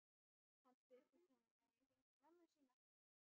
Hann spyr hvort hann megi hringja í mömmu sína.